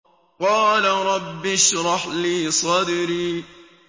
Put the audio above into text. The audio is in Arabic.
قَالَ رَبِّ اشْرَحْ لِي صَدْرِي